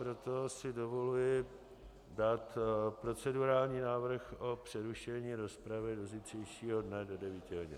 Proto si dovoluji dát procedurální návrh o přerušení rozpravy do zítřejšího dne do 9 hodin.